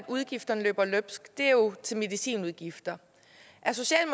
udgifterne løber løbsk er jo medicinudgifterne